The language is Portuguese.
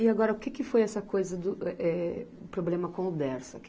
E agora, o que que foi essa coisa do, eh, eh, problema com o Dersa?